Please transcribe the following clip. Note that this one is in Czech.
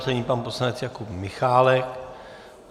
Nyní pan poslanec Jakub Michálek.